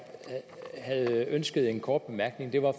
havde ønsket en kort bemærkning var